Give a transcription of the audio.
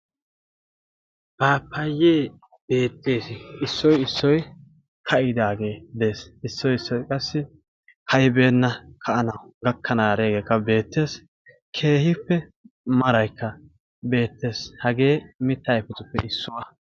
paapayyee beettees issoi issoi ka'idaagee de'ees issoi issoy qassi ka'ibeenna ka'anay gakkananiyageekka beettees keehippe maraykka beettees hagee mitta ayfetuppe issuwaa